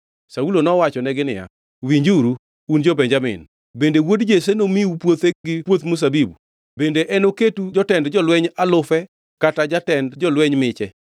Saulo nowachonegi niya, “Winjuru, un jo-Benjamin! Bende wuod Jesse nomiu puothe gi puoth mzabibu? Bende enoketu jotend jolweny alufe kata jatend jolweny miche?